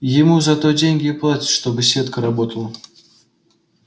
ему за то деньги и платят чтобы сетка работала